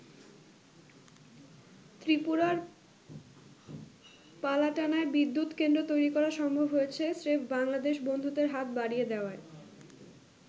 ত্রিপুরার পালাটানায় বিদ্যুৎ কেন্দ্র তৈরি করা সম্ভব হয়েছে স্রেফ বাংলাদেশ বন্ধুত্বের হাত বাড়িয়ে দেওয়ায়।